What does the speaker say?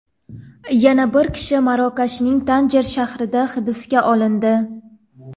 Yana bir kishi Marokashning Tanjer shahrida hibsga olindi.